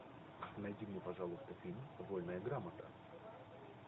найди мне пожалуйста фильм вольная грамота